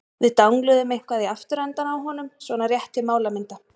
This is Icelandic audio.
Við dangluðum eitthvað í afturendann á honum- svona rétt til málamynda.